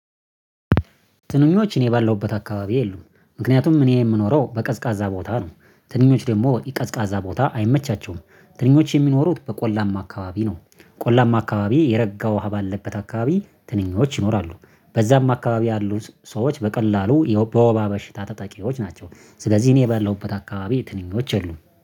ትንኞች እኔ ባለውበት አካባቢ የሉም ምክንያቱም እኔ የምኖረው በቀዝቃዛ ቦታ ነው ትንኞች ደግሞ ቀዝቃዛ ቦታ አይመቻቸውም። ትንኞች የሚኖሩት በቆላማ አካባቢ ነው። ቆላማ አካባቢ የረጋው ሀብ አለበት አካባቢ ትንኞች ይኖራሉ። በዛም አካባቢ ያሉ ሰዎች በቀላሉ በወባ በሽታ ተጠቂዎች ናቸው። ስለዚህ እኔ የበላሁበት አካባቢ ትንኞች የሉም